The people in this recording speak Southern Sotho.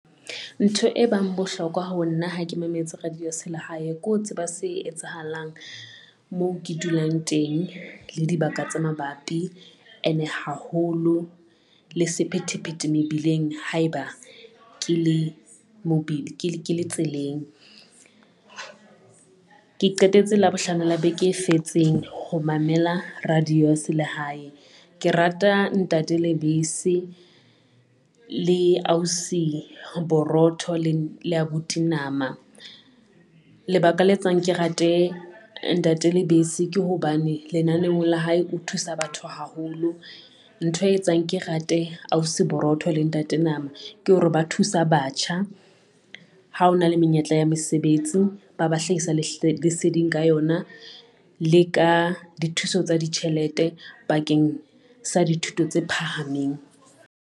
Ntho e bang bohlokwa ho nna, ha ke mametse radio ya se lehae, ko tseba se etsahalang moo ke dulang teng le dibaka tse mabapi ene haholo le sephethephethe mebileng haeba ke le tseleng. Ke qetetse Labohlano le beke e fetseng ho mamela radio ya se lehae. Ke rata ntate Lebese le ausi Borotho le abuti Nama. Lebaka le etsang ke rate ntate Lebese ke hobane lenanehong la hae o thusa batho haholo, ntho e etsang ke rate ausi Borotho le ntate Nama ke hore ba thusa batho batjha, ha hona le menyetla ya mesebetsi ba ba hlahisa leseding ka yona le ka dithuso tsa ditjhelete bakeng sa dithuto tse phahameng.